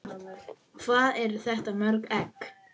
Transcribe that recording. Hvað eru þetta mörg egg?